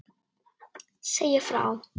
Segja frá.